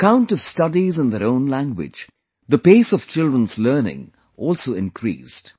On account of studies in their own language, the pace of children's learning also increased